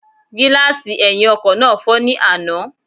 Gílààsì ẹ̀hìn ọkọ̀ náà fọ́ ní àná